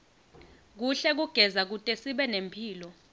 kuhle kugeza kutesibe nemphilo